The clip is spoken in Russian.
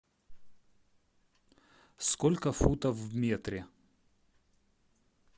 сколько футов в метре